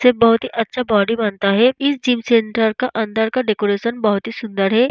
सिर्फ बॉडी अच्छा बॉडी बनता है इस जिम सेंटर का अंदर का डेकोरेशन बहुत ही सुंदर है।